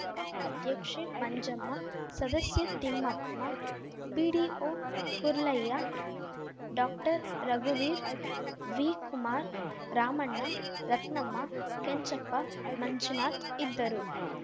ಗ್ರಾಪಂ ಅಧ್ಯಕ್ಷೆ ಮಂಜಮ್ಮ ಸದಸ್ಯೆ ತಿಪ್ಪಮ್ಮ ಪಿಡಿಒ ಕೊರ್ಲಯ್ಯ ಡಾಕ್ಟರ್ರಘುವೀರ್‌ ವಿಕುಮಾರ್‌ ರಾಮಣ್ಣ ರತ್ನಮ್ಮ ಕೆಂಚಪ್ಪ ಮಂಜುನಾಥ್‌ ಇದ್ದರು